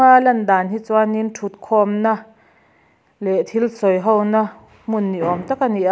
a lan dan chuan in thut khawm na leh thil sawi ho na hmun ni awm tak a ni a.